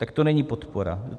Tak to není podpora.